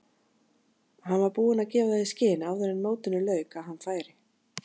Hann var búinn að gefa það í skyn áður en mótinu lauk að hann færi.